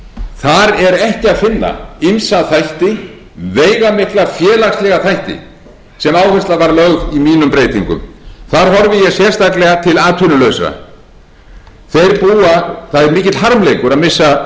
er ekki að finna ýmsa þætti veigamikla félagslega þætti sem áhersla var lögð á í mínum breytingum þar horfði ég sérstaklega til atvinnulausra það er mikill harmleikur að missa